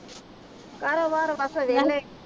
ਕਾਰੋਬਾਰ ਬਸ ਵੇਹਲੇ